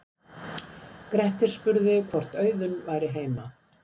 grettir spurði hvort auðunn væri heima